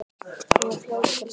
Hún er fljót til svars.